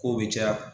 Kow be caya